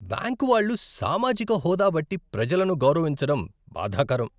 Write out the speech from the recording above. Bank వాళ్ళు సామాజిక హోదా బట్టి ప్రజలను గౌరవించడం బాధాకరం.